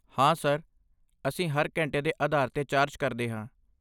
ਹਾਂ ਸਰ, ਅਸੀਂ ਹਰ ਘੰਟੇ ਦੇ ਆਧਾਰ 'ਤੇ ਚਾਰਜ ਕਰਦੇ ਹਾਂ।